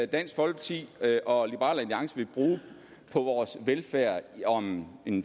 dansk folkeparti og liberal alliance vil bruge på vores velfærd om